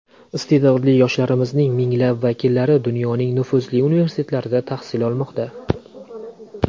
Iste’dodli yoshlarimizning minglab vakillari dunyoning nufuzli universitetlarida tahsil olmoqda.